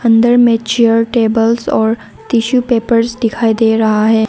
अंदर मे चार टेबल्स और टिश्यू पेपर्स दिखाई दे रहा है।